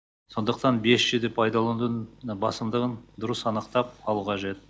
сондықтан бес джиді пайдаланудың басымдығын дұрыс анықтап алу қажет